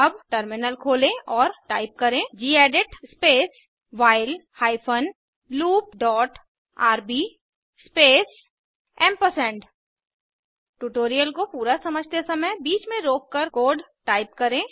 अब टर्मिनल खोलें और टाइप करें gedit space while hyphen loop dot rb space AMP tutorial को पूरा समझते समय बीच में रोककर कोड टाइप करें